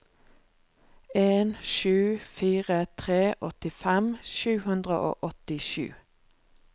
en sju fire tre åttifem sju hundre og åttisju